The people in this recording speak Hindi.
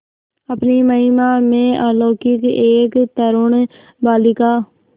अपनी महिमा में अलौकिक एक तरूण बालिका